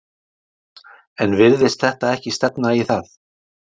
Jónas: En virðist þetta ekki stefna í það?